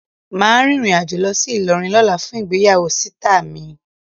Ma rìnrìn àjò lọ sí Ilorin lóla fún ìgbéyàwó sita mi